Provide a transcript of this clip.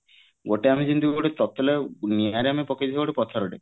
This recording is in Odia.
ଗୋଟେ ଆମେ ଯେମିତି ଗୋଟେ ତତଲା ନିଆଁ ରେ ଆମେ ପକେଇଡବ ଗୋଟେ ପଥର ଟେ